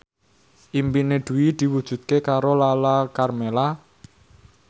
impine Dwi diwujudke karo Lala Karmela